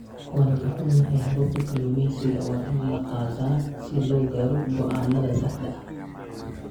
Waan ka xunnahay, hababka kalluumeysiga waa in la qaataa si loo gaaro go'aannada saxda ah.